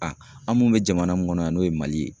A mun bɛ jamana mun kɔnɔ yan n'o ye Mali ye.